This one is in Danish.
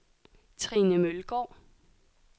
Trine Mølgaard